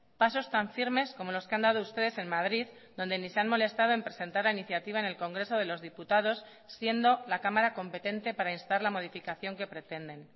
pasos tan firmes como los que han dado ustedes en madrid donde ni se han molestado en presentar la iniciativa en el congreso de los diputados siendo la cámara competente para instar la modificación que pretenden